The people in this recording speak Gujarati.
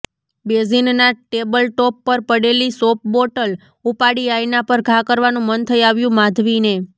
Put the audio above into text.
બેઝીનના ટેબલટોપ પર પડેલી સોપબોટલ ઉપાડી આયના પર ઘા કરવાનું મન થઇ આવ્યું માધવીને